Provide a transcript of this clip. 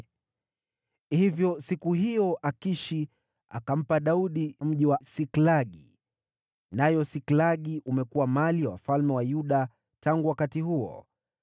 Hivyo siku hiyo Akishi akampa Daudi mji wa Siklagi, nao Siklagi umekuwa mali ya wafalme wa Yuda tangu wakati huo.